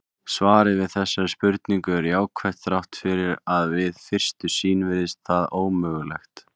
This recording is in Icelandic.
Svarið við þessari spurningu er jákvætt þrátt fyrir að við fyrstu sýn virðist það ómögulegt.